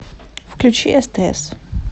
включи стс